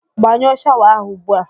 Gbanyụọ shawa ahụ ugbu a!